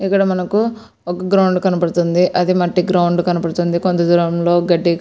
ఇక్కడ మనకు ఒక గ్రౌండ్ కనబడుతుంది. అది మట్టి గ్రౌండ్ కనబడుతుంది. కొంత దూరం లో గడ్డి --